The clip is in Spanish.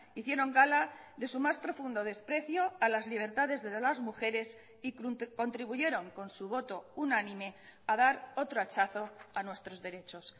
hicieron gala de su más profundo desprecio a las libertades de las mujeres y contribuyeron con su voto unánime a dar otro hachazo a nuestros derechos